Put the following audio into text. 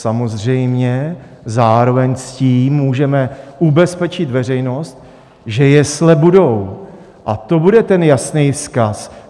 Samozřejmě zároveň s tím můžeme ubezpečit veřejnost, že jesle budou, a to bude ten jasný vzkaz.